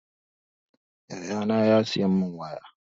Yaya na ya siya mun waya